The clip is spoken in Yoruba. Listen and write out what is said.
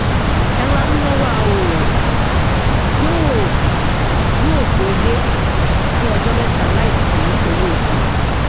ẹrọamúnáwá òòrùn yóò yóò gbé ilé fún ọjọ mẹta láìsí owó epo